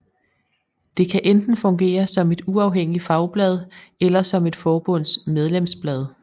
Det kan enten fungere som et uafhængigt fagblad eller som et forbunds medlemsblad